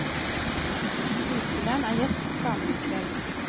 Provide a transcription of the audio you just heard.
Skuespilleren er gjest hos damene i kveld.